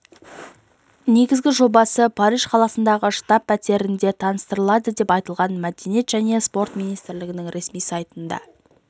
негізгі жобасы париж қаласындағы штаб пәтерінде таныстырылады деп айтылған мәдениет және спорт министрлігінің ресми сайтында